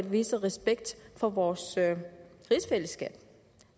vise respekt for vores rigsfællesskab